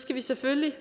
skal vi selvfølgelig